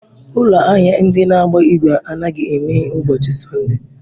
Ụlọ ahịa ndị na-agba igwe anaghị emeghe ụbọchị Sọnde.